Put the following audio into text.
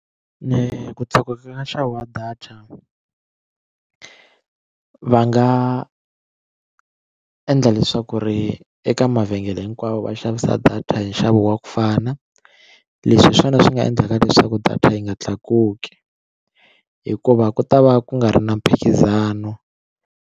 Ni ku tlakuka ka nxavo wa data va nga endla leswaku ri eka mavhengele hinkwavo va xavisa data hi nxavo wa ku fana leswi hi swona swi nga endlaka leswaku data yi nga tlakuki hikuva ku ta va ku nga ri na mphikizano.